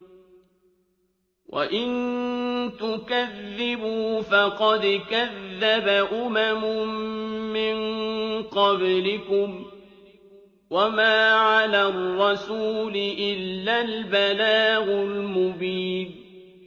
وَإِن تُكَذِّبُوا فَقَدْ كَذَّبَ أُمَمٌ مِّن قَبْلِكُمْ ۖ وَمَا عَلَى الرَّسُولِ إِلَّا الْبَلَاغُ الْمُبِينُ